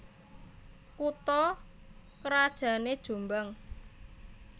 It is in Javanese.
Kutha krajané Jombang